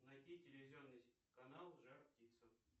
найти телевизионный канал жар птица